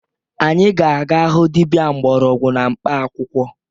Anyị ga-aga hụ dibia mgbọrọgwụ na mkpaakwụkwọ